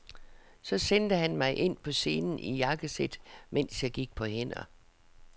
Så sendte han mig ind på scenen i jakkesæt, mens jeg gik på hænder.